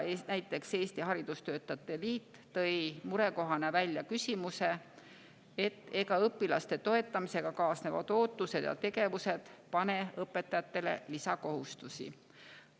Eesti Haridustöötajate Liit tõi murekohana välja näiteks küsimuse, et ega õpilaste toetamisega kaasnevad ootused ja tegevused ei pane õpetajatele lisakohustusi.